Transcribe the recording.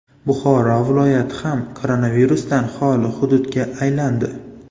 Buxoro viloyati ham koronavirusdan xoli hududga aylandi.